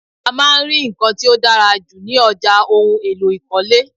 A máa ń rí nkan tí ó dára jù ní ọjà ohùn èlò ikọle